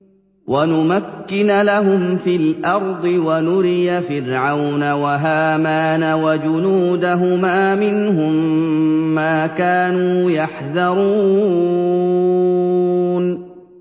وَنُمَكِّنَ لَهُمْ فِي الْأَرْضِ وَنُرِيَ فِرْعَوْنَ وَهَامَانَ وَجُنُودَهُمَا مِنْهُم مَّا كَانُوا يَحْذَرُونَ